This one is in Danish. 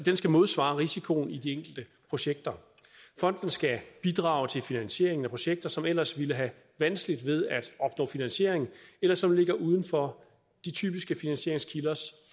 skal modsvare risikoen i de enkelte projekter fonden skal bidrage til finansieringen af projekter som ellers ville have vanskeligt ved at opnå finansiering eller som ligger uden for de typiske finansieringskilders